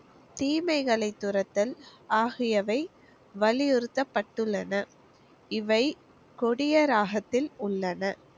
தீமைகளை துரத்தல் ஆகியவை வலியுறுத்தபட்டுள்ளன. இவை கொடிய ராகத்தில் உள்ளன.